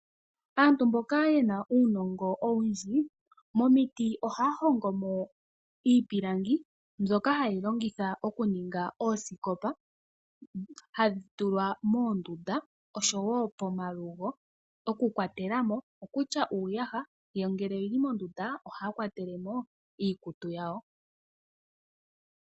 Aantu mboka yena uunongo owundji momiti ohaya hongo mo iipilangi mbyoka hayeyi longitha oku ninga oosikopa hadhi tulwa moondunda nopomalugo okukwatelamo kutya uuyaha yo ngele oyili mondunda ohaya kwatelemo iikutu yawo.